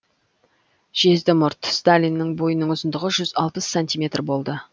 жезді мұрт сталиннің бойының ұзындығы жүз алпыс сантиметр болды